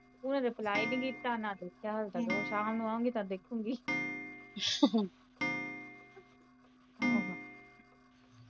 ਓਹਨੇ reply ਨਹੀਂ ਕੀਤਾ ਨਾ ਦੇਖਿਆ ਹਲੇ ਤਕ ਉਹ ਸ਼ਾਮ ਨੂੰ ਆਉਗੀ ਤਾ ਦੇਖੂਗੀ